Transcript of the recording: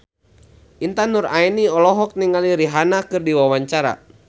Intan Nuraini olohok ningali Rihanna keur diwawancara